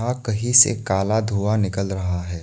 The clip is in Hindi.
कहीं से काला धूँआ निकल रहा है।